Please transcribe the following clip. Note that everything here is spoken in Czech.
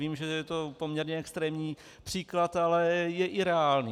Vím, že je to poměrně extrémní příklad, ale je i reálný.